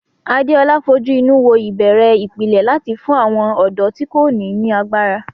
Adeola fojú inú wo ìbẹ̀rẹ̀ ìpìlẹ̀ láti fún àwọn ọ̀dọ́ tí kò ní ní agbára.